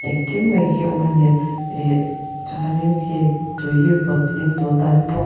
engkim mai hi awm a ni ehh chuanin khi tui vawt in duh tan pawh.